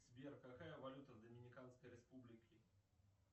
сбер какая валюта в доминиканской республике